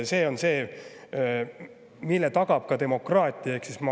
See on see, mille tagab demokraatia, Eesti rahva tahe.